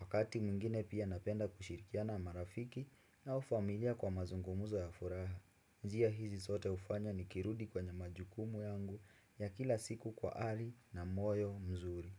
Wakati mwingine pia napenda kushirikiana marafiki au familia kwa mazungumuzo ya furaha njia hizi zote hufanya nikirudi kwenye majukumu yangu ya kila siku kwa ari na moyo mzuri.